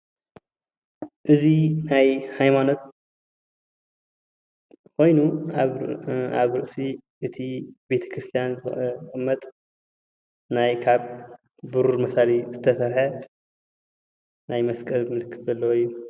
እዚ ናይ ሃይማኖት ኮይኑ ኣብ ርእሲ እቲ ቤተ ክርስትያን ዝቅመጥ ናይ ካብ ብሩር መሳሊ ዝተሰርሓ ናይ መስቀል ምልክት ዘለዎ እዩ፡፡